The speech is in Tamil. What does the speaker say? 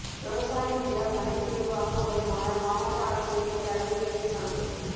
விவசாய நிலம் மனைப் பிரிவு ஆக்கப்படுமானால் மாவட்ட ஆட்சியரின் தடையின்மை சான்று